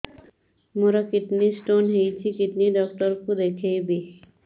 ମୋର kidney stone ହେଇଛି kidney doctor କୁ ଦେଖାଇବି